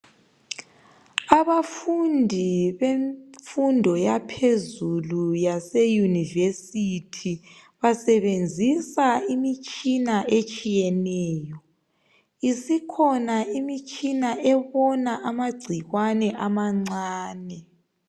Abafundi bemfundo yaphezulu yase university basebenzisa imitshina etshiyeneyo isikhona imitshina embona amagcikwane amancane.